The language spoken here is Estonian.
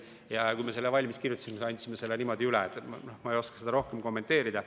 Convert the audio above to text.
Me kirjutasime selle valmis ja andsime selle niimoodi üle, ma ei oska seda rohkem kommenteerida.